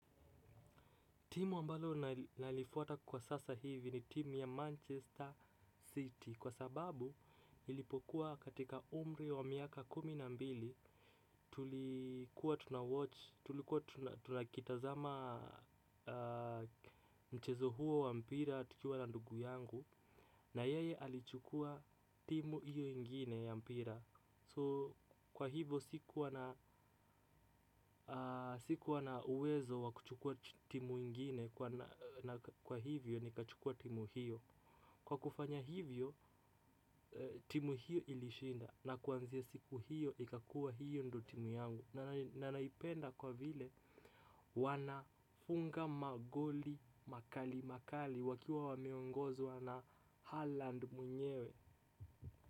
Timu ambalo nalifuata kwa sasa hivi ni timu ya Manchester City. Kwa sababu ilipokuwa katika umri wa miaka kuminambili tulikuwa tunakitazama mchezo huo wa mpira tukiwa na ndugu yangu. Na yeye alichukua timu iyo ingine ya mpira So kwa hivo siku wana uwezo wakuchukua timu ingine. Na kwa hivyo nikachukua timu hiyo. Kwa kufanya hivyo timu hiyo ilishinda. Na kuanzia siku hiyo ikakua hiyo ndo timu yangu. Na naipenda kwa vile wanafunga magoli makali makali. Wakiwa wameongozwa na Harland muenyewe.